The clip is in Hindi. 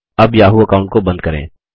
अब याहू अकाऊंट को बंद करें